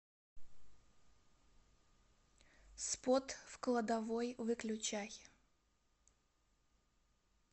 спот в кладовой выключай